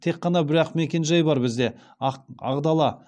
тек қана бір ақ мекен жай бар бізде ақ дала